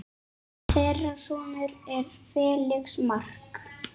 Þeirra sonur er Felix Mark.